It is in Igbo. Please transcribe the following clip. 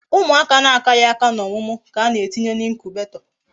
Umuaka na akaghi aka na omumu ka ana etinye na incubator